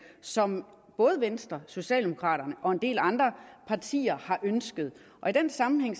som både venstre socialdemokraterne og en del andre partier har ønsket og i den sammenhæng